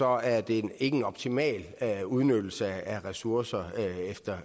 er det ikke en optimal udnyttelse af ressourcer